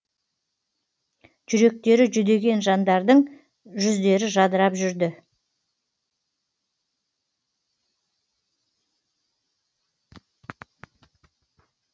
жүректері жүдеген жандардың жүздері жадырап жүрді